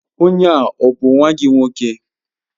Onye a ọ bụ nwa gị nwoke?